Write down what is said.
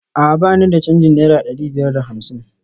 A'a ba ni da canjin naira dari biyar da hamsin?